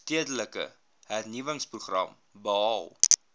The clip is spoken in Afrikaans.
stedelike hernuwingsprogram behaal